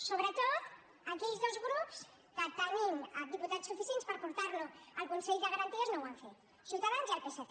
sobretot aquells dos grups que tenint diputats suficients per portarlo al consell de garanties no ho han fet ciutadans i el psc